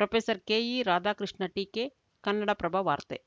professor K E Radhakrishna ಟೀಕೆ ಕನ್ನಡಪ್ರಭ ವಾರ್ತೆ